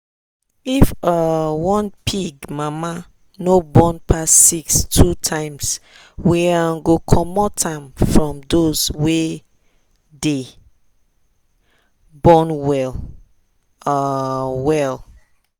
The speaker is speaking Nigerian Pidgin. if um one pig mama no born pass six two times we um go commot am from those wey dey born well um well.